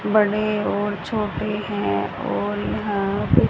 बड़े और छोटे हैं और यहां पे--